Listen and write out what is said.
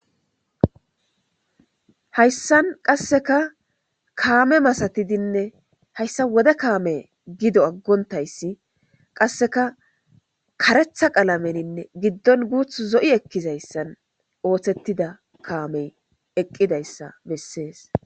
Haysan qaseka kaame masatidine haysa wode kaame gido agontaysi qaseka kareththa qalamenine giddon guththi zo7i ekizaysan oosetida kaamey eqidaysa besses.